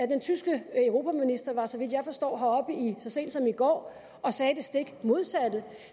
den tyske europaminister var så vidt jeg forstår heroppe så sent som i går og sagde det stik modsatte